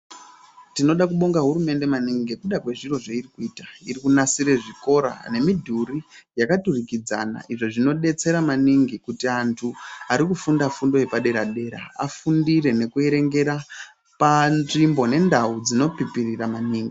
Tinoda kubonga hurumende maningi ngekuda kwezviro zveiri kuita, iri kunasire zvikora nemidhuri yakaturikidzana izvo zvinodetsera maningi kuti antu arikufunda fundo yepadera dera afundire nekuerengera panzvimbo nendau dzinopipirira maningi.